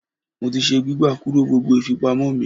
Mo ti se gbígbà kúrò gbogbo ìfipamọ́ mi.